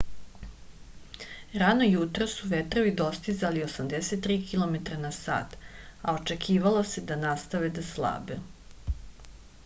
rano jutros su vetrovi dostizali 83 km/h a očekivalo se da nastave da slabe